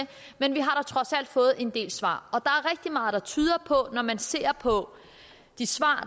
men vi har da trods alt fået en del svar og når man ser på de svar